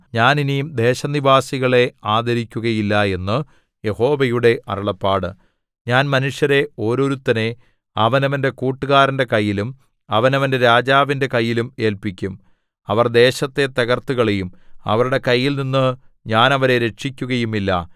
ഞാൻ ഇനി ദേശനിവാസികളെ ആദരിക്കുകയില്ല എന്നു യഹോവയുടെ അരുളപ്പാട് ഞാൻ മനുഷ്യരെ ഓരോരുത്തനെ അവനവന്റെ കൂട്ടുകാരന്റെ കൈയിലും അവനവന്റെ രാജാവിന്റെ കൈയിലും ഏല്പിക്കും അവർ ദേശത്തെ തകർത്തുകളയും അവരുടെ കൈയിൽനിന്നു ഞാൻ അവരെ രക്ഷിക്കുകയുമില്ല